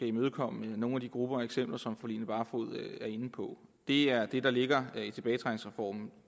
imødekomme nogle af de grupper og eksempler som fru line barfod er inde på det er det der ligger